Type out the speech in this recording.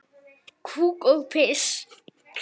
Kúk og piss.